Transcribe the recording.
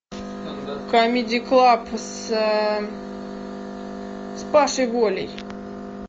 камеди клаб с пашей волей